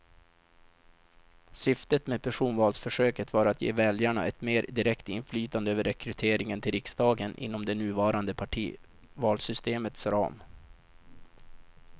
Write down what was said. Syftet med personvalsförsöket var att ge väljarna ett mer direkt inflytande över rekryteringen till riksdagen inom det nuvarande partivalssystemets ram.